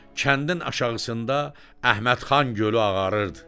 Kəndin aşağısında Əhmədxan gölü ağarırdı.